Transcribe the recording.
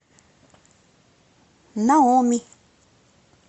наоми